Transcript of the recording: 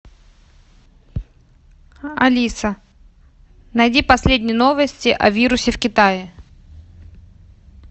алиса найди последние новости о вирусе в китае